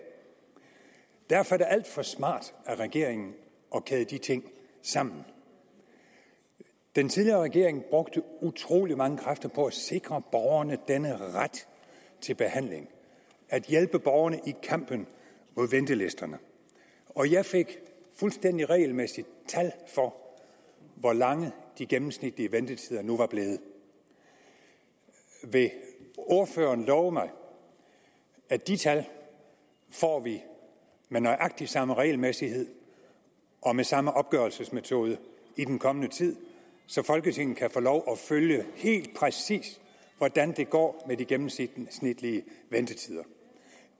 derfor er det alt for smart af regeringen at kæde de ting sammen den tidligere regering brugte utrolig mange kræfter på at sikre borgerne denne ret til behandling at hjælpe borgerne i kampen mod ventelisterne og jeg fik fuldstændig regelmæssigt tal for hvor lange de gennemsnitlige ventetider nu var blevet vil ordføreren love mig at de tal får vi med nøjagtig samme regelmæssighed og med samme opgørelsesmetode i den kommende tid så folketinget kan få lov at følge helt præcis hvordan det går med de gennemsnitlige ventetider